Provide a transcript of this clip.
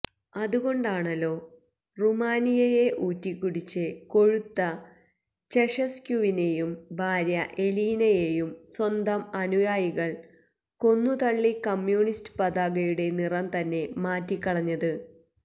അതുകൊണ്ടാണല്ലോ റുമാനിയയെ ഊറ്റിക്കുടിച്ച് കൊഴുത്ത ചെഷസ്ക്യുവിനെയും ഭാര്യ എലീനയെയും സ്വന്തം അനുയായികള് കൊന്നുതള്ളി കമ്യൂണിസ്റ്റ് പതാകയുടെ നിറം തന്നെ മാറ്റിക്കളഞ്ഞത്